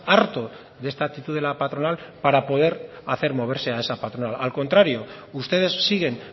harto de esta actitud de la patronal para poder hacer moverse a esa patronal al contrario ustedes siguen